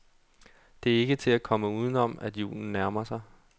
Det er ikke til at komme udenom, at julen nærmer sig.